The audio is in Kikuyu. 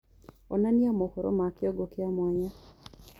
onanĩa mohoro ma kĩongo kĩa mwanya